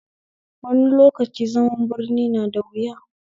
Wani lokaci zaman birni na da wuya